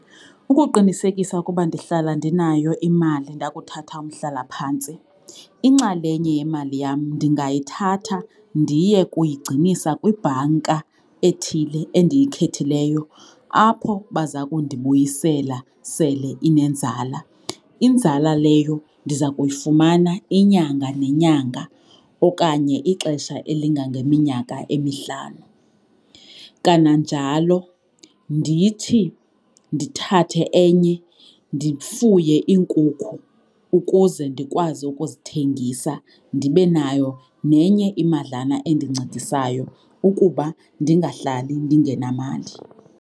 Ukuqinisekisa ukuba ndihlala ndinayo imali ndakuthatha umhlalaphantsi inxalenye yemali yam ndingayithatha ndiye kuyigcinisa kwibhanka ethile endiyikhethileyo apho baza kundibuyisela sele inenzala. Inzala leyo ndiza kuyifumana inyanga nenyanga okanye ixesha elingangeminyaka emihlanu. Kananjalo ndithi ndithathe enye, ndifuye iinkukhu ukuze ndikwazi ukuzithengisa ndibe nayo nenye imadlana endincedisayo ukuba ndingahlali ndingenamali.